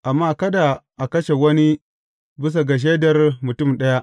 Amma kada a kashe wani bisa ga shaidar mutum ɗaya.